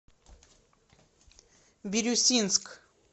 бирюсинск